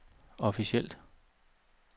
officielt